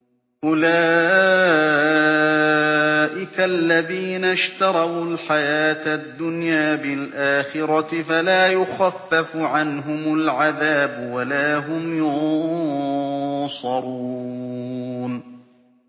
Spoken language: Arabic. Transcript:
أُولَٰئِكَ الَّذِينَ اشْتَرَوُا الْحَيَاةَ الدُّنْيَا بِالْآخِرَةِ ۖ فَلَا يُخَفَّفُ عَنْهُمُ الْعَذَابُ وَلَا هُمْ يُنصَرُونَ